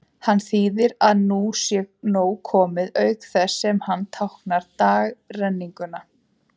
Hann þýðir að nú sé nóg komið, auk þess sem hann táknar dagrenninguna.